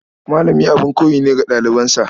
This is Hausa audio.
Malami abin koyi ne ga ɗalibansa.